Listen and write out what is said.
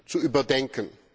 zu überdenken.